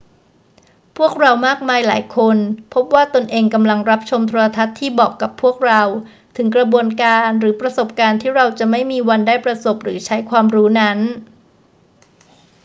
พวกเรามากมายหลายคนพบว่าตนเองกำลังรับชมโทรทัศน์ที่บอกกับพวกเราถึงกระบวนการหรือประสบการณ์ที่เราจะไม่มีวันได้ประสบหรือใช้ความรู้นั้น